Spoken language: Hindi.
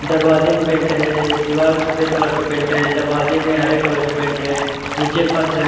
दरवाजे में पेंट है। दीवाल सफ़ेद कलर का पेंट है। दरवाजे में हरे कलर का पेंट है। नीचे फर्श है।